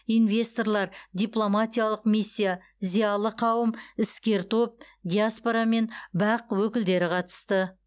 инвесторлар дипломатиялық миссия зиялы қауым іскер топ диаспора мен бақ өкілдері қатысты